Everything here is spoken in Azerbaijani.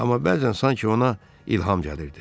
Amma bəzən sanki ona ilham gəlirdi.